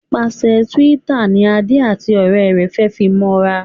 Nípasẹ Twitter ní Ade àti òré rẹ fe fí mọ ra